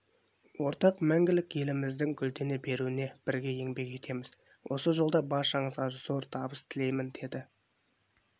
ортақ мәңгілік еліміздің гүлдене беруіне бірге еңбек етеміз осы жолда баршаңызға зор табыс тілеймін деді